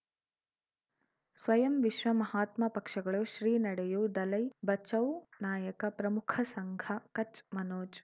ಸ್ವಯಂ ವಿಶ್ವ ಮಹಾತ್ಮ ಪಕ್ಷಗಳು ಶ್ರೀ ನಡೆಯೂ ದಲೈ ಬಚೌ ನಾಯಕ ಪ್ರಮುಖ ಸಂಘ ಕಚ್ ಮನೋಜ್